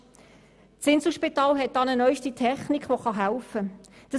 Das Inselspital hat eine neue Technik entwickelt, die hier helfen kann.